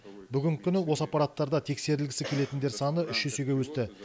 бүгінгі күні осы аппараттарда тексерілгісі келетіндер саны үш есеге өсті